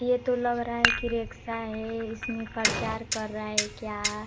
ये तो लग रहा है कि रेक्सा है इसमें प्रचार कर रहा है क्या।